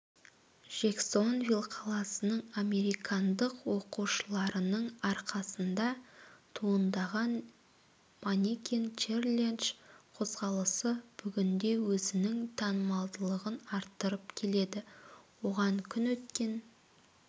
джексонвиль қаласының американдық оқушыларының арқасында туындаған манекен-челендж қозғалысы бүгінде өзінің танымалдылығын арттырып келеді оған күн өткен